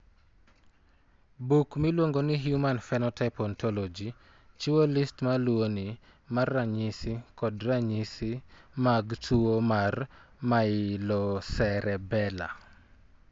Buk miluongo ni Human Phenotype Ontology chiwo list ma luwoni mar ranyisi kod ranyisi mag tuwo mar Myelocerebellar.